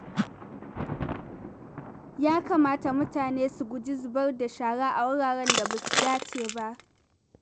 Ya kamata mutane su guji zubar da shara a wuraren da ba su dace ba.